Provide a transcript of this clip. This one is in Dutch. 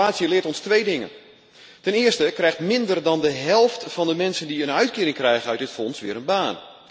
Maar de evaluatie leert ons twee dingen ten eerste vindt minder dan de helft van de mensen die een uitkering krijgen uit het fonds weer een baan.